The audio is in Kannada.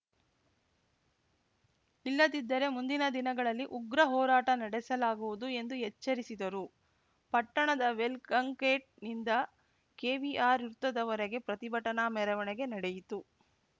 ಇಲ್ಲದಿದ್ದರೆ ಮುಂದಿನ ದಿನಗಳಲ್ಲಿ ಉಗ್ರ ಹೋರಾಟ ನಡೆಸಲಾಗುವುದು ಎಂದು ಎಚ್ಚರಿಸಿದರು ಪಟ್ಟಣದ ವೆಲ್‌ಕಂಗೇಟ್‌ನಿಂದ ಕೆವಿಆರ್‌ ವೃತ್ತದವರೆಗೆ ಪ್ರತಿಭಟನಾ ಮೆರವಣಿಗೆ ನಡೆಯಿತು